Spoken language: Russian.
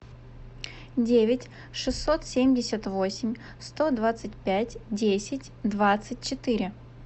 девять шестьсот семьдесят восемь сто двадцать пять десять двадцать четыре